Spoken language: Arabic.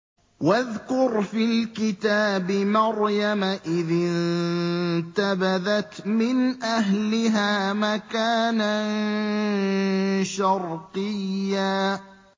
وَاذْكُرْ فِي الْكِتَابِ مَرْيَمَ إِذِ انتَبَذَتْ مِنْ أَهْلِهَا مَكَانًا شَرْقِيًّا